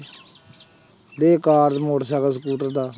ਬੇਕਾਰ motorcycle, scooter ਦਾ।